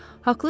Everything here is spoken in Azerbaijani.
Haqlısız.